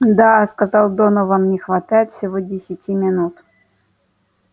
да сказал донован не хватает всего десяти минут